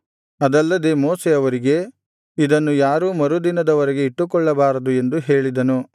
ಅದಲ್ಲದೆ ಮೋಶೆ ಅವರಿಗೆ ಇದನ್ನು ಯಾರೂ ಮರು ದಿನದವರೆಗೆ ಇಟ್ಟುಕೊಳ್ಳಬಾರದು ಎಂದು ಹೇಳಿದನು